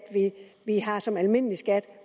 vi har som almindelig skat